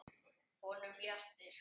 Honum léttir.